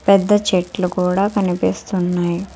పెద్ద చెట్లు కూడా కనిపిస్తున్నాయ్ .